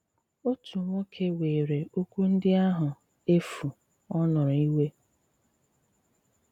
Otu nwòkè wèèrè òkwù ndị àhụ efù ọ̀ nụrụ ìwè.